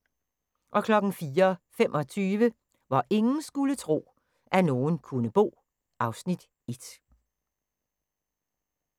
04:25: Hvor ingen skulle tro, at nogen kunne bo (Afs. 1)